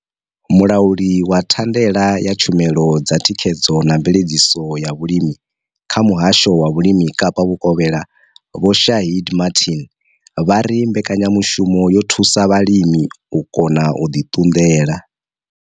Mulauli wa thandela ya tshumelo dza thikhedzo na mveledziso ya vhulimi kha Muhasho wa Vhulimi Kapa Vhukovhela Vho Shaheed Martin vha ri mbekanyamushumo yo thusa vhalimi u kona u ḓi ṱunḓela.